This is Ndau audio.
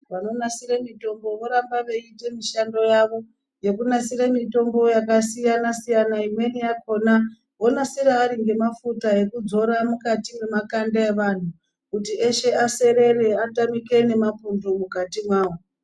Vanonasire mitombo voramba veiita mishando yavo yekunasire mitombo yakasiyana-siyana. Imweni yakona vonasira ari ngemafuta ekudzora mukati mwemakanda evantu kuti eshe aserere atamike ngemapundu mukati mwavo.